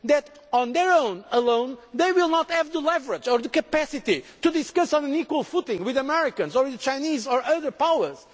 that on their own they will not have the leverage or the capacity to talk on an equal footing with the Americans or the Chinese or other powers